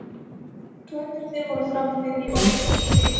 Glæpirnir voru framdir í Ósló